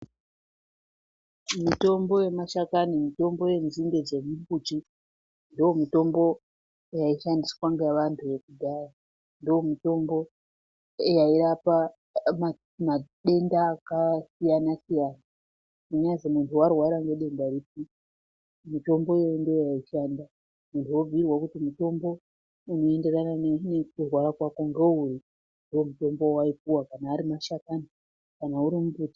Mitombo yemashakani ,mitombo yenzinde dzemumbuti ndomutombo yaishandiswa nevantu vekudhaya ndomutombo yairapa madenda akasiyanasiyana ,kunyazwi munhu warwara nedenda ripi mitombo iyoyo ndiyo yaishanda muntu obhuyiirwa kuti mutombo unoenderana nekurwara kwako ngouri ndomutombo waipuwa, kana ari mashakani, kana urimumbuti....